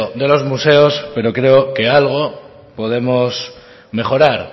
de los museos pero creo que algo podemos mejorar